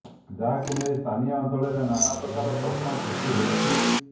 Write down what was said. ଯାହାକୁ ନେଇ ସ୍ଥାନୀୟ ଅଞ୍ଚଳରେ ନାନା ପ୍ରକାର ପ୍ରଶ୍ନ ସୃଷ୍ଟି ହୋଇଛି